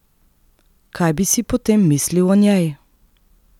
Kaj bi si potem mislil o njej?